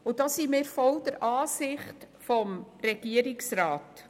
Wir folgen hier der Ansicht des Regierungsrats.